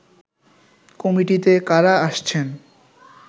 কমিটিতে কারা আসছেন